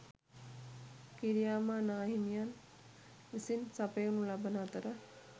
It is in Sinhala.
කිරියාමා නාහිමියන් විසින් සපයනු ලබන අතර